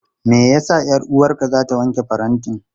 Me ya sa 'yar'uwarka za ta wanke farantin?